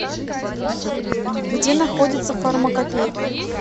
где находится фармакопейка